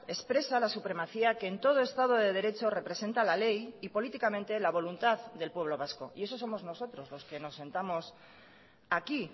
expresa la supremacía que en todo estado de derecho representa la ley y políticamente la voluntad del pueblo vasco y esos somos nosotros los que nos sentamos aquí